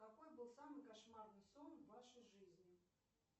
какой был самый кошмарный сон в вашей жизни